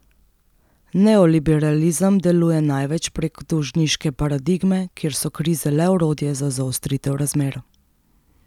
Neoliberalizem deluje največ prek dolžniške paradigme, kjer so krize le orodje za zaostritev razmer.